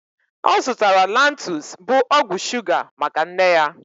Ọ zụtara Lantus, bu ọgwụ shuga maka nne ya